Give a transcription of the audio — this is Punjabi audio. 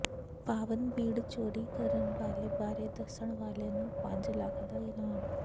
ਪਾਵਨ ਬੀਡ਼ ਚੋਰੀ ਕਰਨ ਵਾਲੇ ਬਾਰੇ ਦੱਸਣ ਵਾਲੇ ਨੂੰ ਪੰਜ ਲੱਖ ਦਾ ਇਨਾਮ